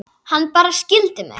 Hann bara skildi mig.